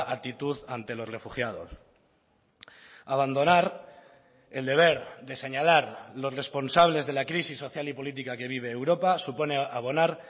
actitud ante los refugiados abandonar el deber de señalar los responsables de la crisis social y política que vive europa supone abonar